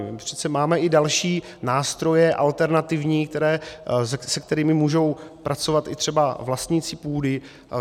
My přece máme i další nástroje, alternativní, se kterými můžou pracovat i třeba vlastníci půdy.